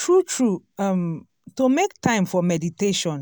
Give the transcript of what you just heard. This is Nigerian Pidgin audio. true true um to make time for meditation